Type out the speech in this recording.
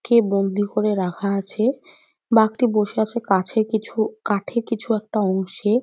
কে বন্দি করে রাখা আছে। বাঘটি বসে আছে কাছে কিছু কাঠে কিছু একটা অংশে।